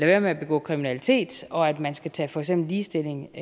være med at begå kriminalitet og at man skal tage for eksempel ligestilling